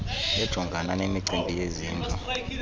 ejongana nemicimbi yezindlu